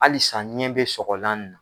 Halisa ɲɛ bɛ sɔgɔlan na